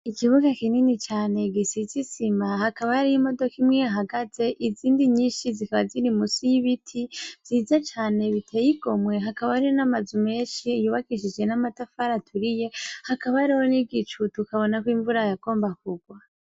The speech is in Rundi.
Ikibuga kinini cane gisize isima hakaba hariho imodoka ihahagaze izindi ziba ziri musi y' ibiti vyiza cane biteye igomwe hakaba hari n' amazu menshi yubakishije n' amatafari aturiye hakaba hariho n' igicu tukabona ko imvura yagomba kugwa.